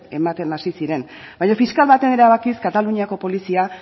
ematen hasi ziren baino fiskal baten erabakiz kataluniako polizia